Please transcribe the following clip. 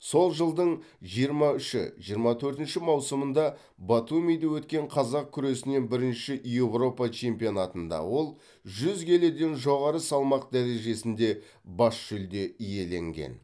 сол жылдың жиырма үші жиырма төртінші маусымында батумиде өткен қазақ күресінен бірінші европа чемпионатында ол жүз келіден жоғары салмақ дәрежесінде бас жүлде иеленген